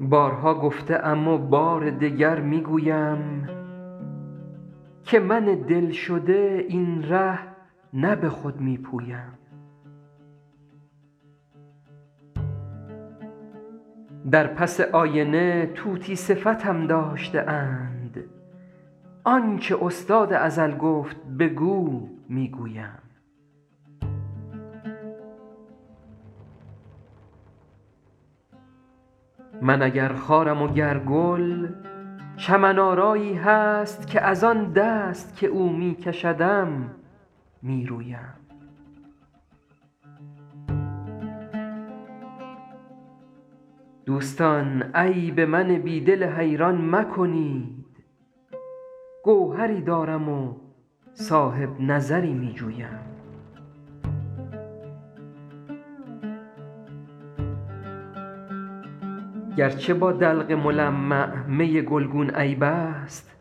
بارها گفته ام و بار دگر می گویم که من دل شده این ره نه به خود می پویم در پس آینه طوطی صفتم داشته اند آن چه استاد ازل گفت بگو می گویم من اگر خارم و گر گل چمن آرایی هست که از آن دست که او می کشدم می رویم دوستان عیب من بی دل حیران مکنید گوهری دارم و صاحب نظری می جویم گر چه با دلق ملمع می گلگون عیب است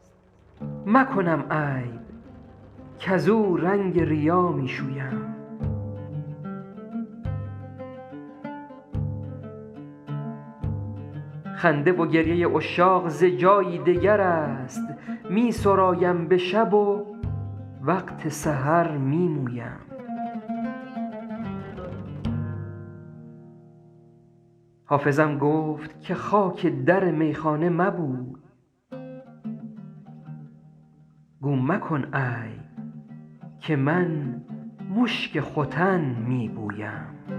مکنم عیب کزو رنگ ریا می شویم خنده و گریه عشاق ز جایی دگر است می سرایم به شب و وقت سحر می مویم حافظم گفت که خاک در میخانه مبوی گو مکن عیب که من مشک ختن می بویم